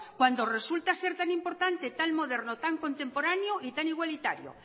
cuando resulta ser tan importante tan moderno tan contemporáneo y tan igualitario